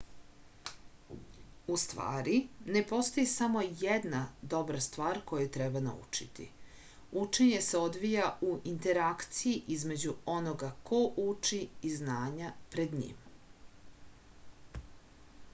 u stvari ne postoji samo jedna dobra stvar koju treba naučiti učenje se odvija u interakciji između onoga ko uči i znanja pred njim